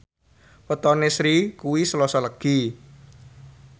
wetone Sri kuwi Selasa Legi